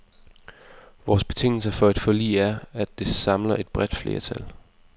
Vores betingelse for et forlig er, at det samler et bredt flertal.